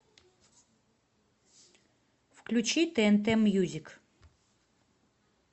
включи тнт мьюзик